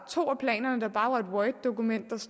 to af planerne bare var et worddokument hvor